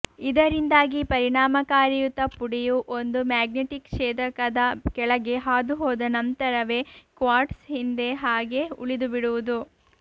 ಇದರಿಂದಾಗಿ ಪರಿಣಾಮಕಾರಿಯುತ ಪುಡಿಯು ಒಂದು ಮ್ಯಾಗ್ನೆಟಿಕ್ ಛೇದಕದ ಕೆಳಗೆ ಹಾದು ಹೋದ ನಂತರವೇ ಕ್ವಾರ್ಟ್ಸ್ ಹಿಂದೆ ಹಾಗೇ ಉಳಿದು ಬಿಡುವುದು